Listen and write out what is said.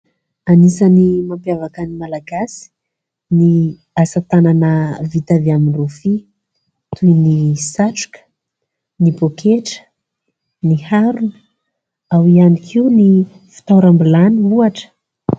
Anisany mampiavaka ny Malagasy ny asa tanana vita avy amin'ny rofia toy ny satroka, ny pôketra, ny harona ao ihany koa ny fitoeram-bilany ohatra.